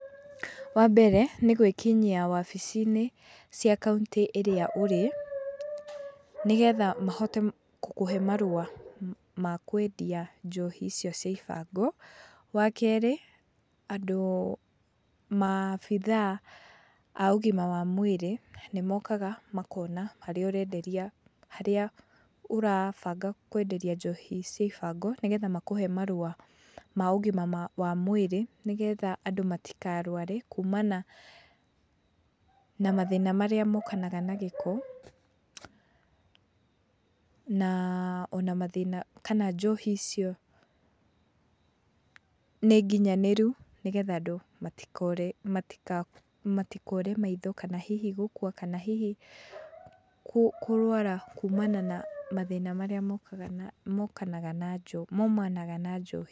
Wambere nĩgũĩkinyia wabici-inĩ, cia kauntĩ ĩrĩa ũrĩ, nĩgetha mahote gũkũhe marũa, ma kwendia njohi icio cia ibango. Wa kerĩ, andũ, ,maabithaa ma ũgima wa mwrĩrĩ, nĩmokaga makona harĩa ũrenderia harĩa ũrũabanga kũenderia njohi cia ibango, nĩgetha makũhe marũa ma ũgima wa mwĩrĩ, nĩgetha andũ matikarũare kumana, ,na mathĩna marĩa mokanaga na gĩko, na ,ona mathĩna, kana njohi icio, ,nĩnginyanĩru, nĩgetha andũ matikore maitho, kana hihi gũkua, kana hihi, kũrũara kumana na nĩ mathĩna marĩa mokanaga maumanaga na njohi.